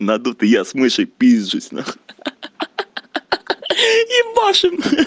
надутый я с мышей пизжусь на хуй ха-ха ебашим